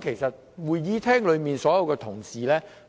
其實會議廳內所有同事